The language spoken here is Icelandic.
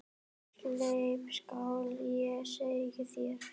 Sleip skal ég segja þér.